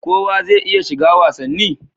Kowa zai iya shiga wasanni?